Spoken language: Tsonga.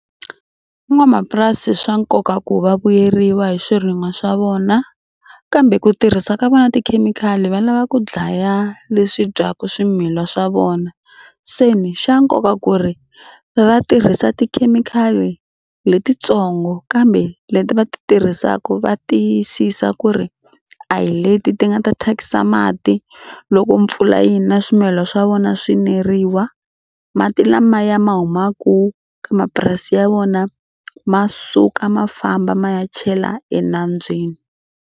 Van'wamapurasi swa nkoka ku va vuyeriwa hi swirin'wa swa vona kambe ku tirhisa ka vona tikhemikhali va lava ku dlaya leswi dyaka swimilana swa vona. Se ni xa nkoka ku ri va tirhisa tikhemikhali letitsongo kambe leti va ti tirhisaka va tiyisisa ku ri a hi leti ti nga ta thyakisa mati loko mpfula yi na swimilana swa vona swi neriwa. Mati lamaya ma humaka ka mapurasi ya vona ma suka ma famba ma ya chela enambyeni.